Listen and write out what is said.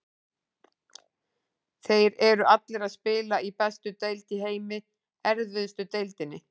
Þeir eru allir að spila í bestu deild í heimi, erfiðustu deildinni.